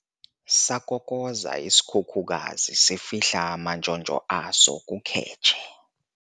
Sakokoza isikhukukazi sifihla amantshontsho as kukhetshe.